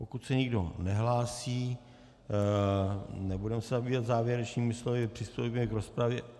Pokud se nikdo nehlásí, nebudeme se zabývat závěrečnými slovy, přistoupíme k rozpravě.